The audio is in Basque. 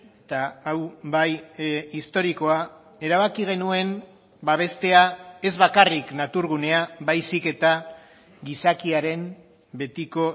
eta hau bai historikoa erabaki genuen babestea ez bakarrik naturgunea baizik eta gizakiaren betiko